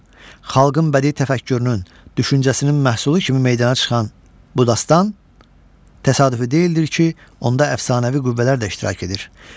Xalqın bədii təfəkkürünün, düşüncəsinin məhsulu kimi meydana çıxan bu dastan təsadüfi deyildir ki, onda əfsanəvi qüvvələr də iştirak edir.